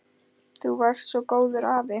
Þú varst svo góður afi.